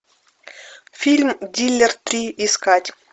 фильм дилер три искать